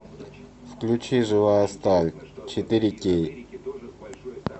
включи живая сталь четыре кей